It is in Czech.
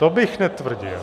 To bych netvrdil.